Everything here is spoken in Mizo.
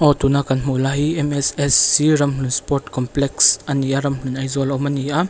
tuna kan hmuh lai hi mssc ramhlun sport complex a ni a ramhlun aizawl a awm a ni a.